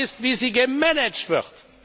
Falsch ist, wie sie gemanagt wird.